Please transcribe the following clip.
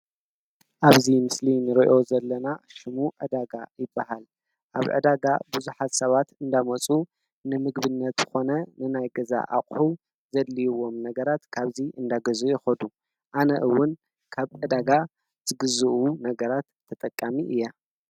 ኣብዚ ምሰሊ ንርእዮ ዘለና ሽሙ ዕዳጋ ይባሃል። ኣብ ዕዳጋ ብዙሓት ሰባት አንዳመፁ ንምግብነት ዝኮነ ንናይ ገዛ ኣቁሑ ዘደልይዎም ነገራት ካብዚ እንዳገዝኡ ይከዱ። ኣነእውን ካብ ዕዳጋ ዝግዝኡ ነገራት ተጠቃሚ እየ።